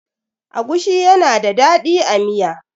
agushi yana da dadi a Miya